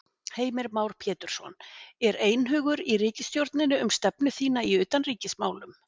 Heimir Már Pétursson: Er einhugur í ríkisstjórninni um stefnu þína í utanríkismálum?